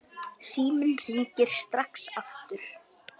Síminn hringir strax aftur.